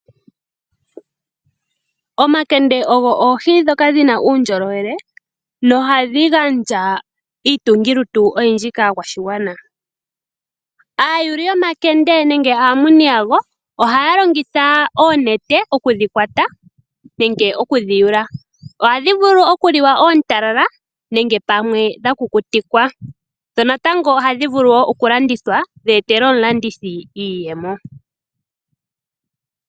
Omakende ogwo oohi dhoka dhinauundjoloele noha dhi gandja iitungilutu oyindji kakwashikwana. ayuli yomakende nenge amuni yagwo oha longitha onete oku dhi kwata nenge okudhi yula .onenene oku dhikwata nenge okudhi kwata nenge okudhi yula. ohadhi vulu oku liwa oontala nenge dha kukutikwa, dho naatango ohadhi vulu okulandithwa dhi etele omulandithi iiyemo